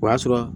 O y'a sɔrɔ